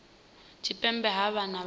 tshipembe ha vha na u